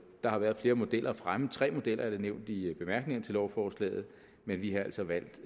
der har været flere modeller fremme tre modeller er nævnt i lovforslaget men vi har altså valgt